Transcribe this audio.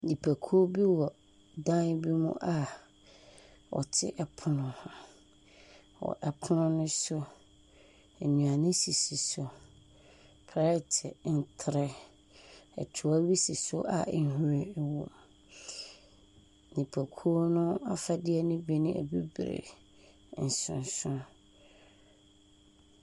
Nnipakuw bi wɔ dan bi mu a wɔte ɛpono ho. Wɔ ɛpono no so, nnuane sisi so. Plɛɛte, ntere, ɛtoa bi si so a nhwiren wɔ mu.